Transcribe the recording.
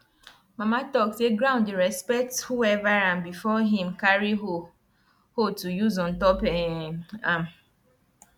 mama talk say ground dey respect whoever am before him carry hoe hoe to use ontop um am